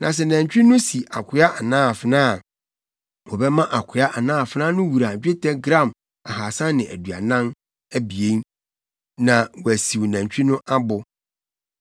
Na sɛ nantwi no si akoa anaa afenaa a, wɔbɛma akoa anaa afenaa no wura dwetɛ gram ahaasa ne aduanan (342) abien, na wɔasiw nantwi no abo.